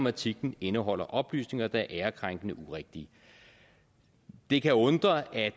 at artiklen indeholder oplysninger der er ærekrænkende og urigtige det kan undre at